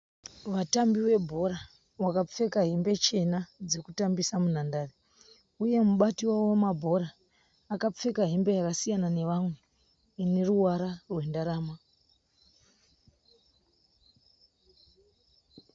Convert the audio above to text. Vatambi vebhora vakapfeka hembe chena dzekutambisa munhandare uye mubati wavo wemabhora akapfeka hembe yakasiyana nevamwe ineruvara rwendarama.